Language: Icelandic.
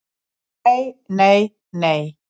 """Nei, nei, nei!"""